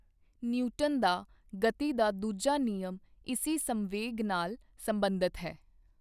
Newton ਦਾ ਗਤੀ ਦਾ ਦੂਜਾ ਨਿਯਮ ਇਸੀ ਸੰਵੇਗ ਨਾਲ ਸਬੰਧਤ ਹੈ।